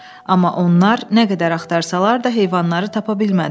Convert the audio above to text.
Amma onlar nə qədər axtarsalar da heyvanları tapa bilmədilər.